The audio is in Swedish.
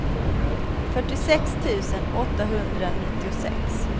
fyrtiosex tusen åttahundranittiosex